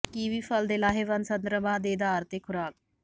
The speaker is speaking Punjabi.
ਕਿਵੀ ਫਲ ਦੇ ਲਾਹੇਵੰਦ ਸੰਦਰਭਾਂ ਦੇ ਅਧਾਰ ਤੇ ਖੁਰਾਕ